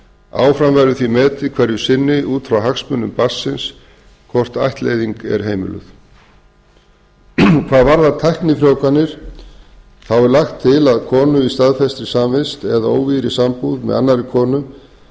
áfram verður því metið hverju sinni út frá hagsmunum barnsins hvort ættleiðing er heimiluð hvað varðar tæknifrjóvganir er lagt til að konur í staðfestri samvist eða óvígðri sambúð með annarri konu